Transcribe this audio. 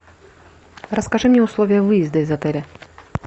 расскажи мне условия выезда из отеля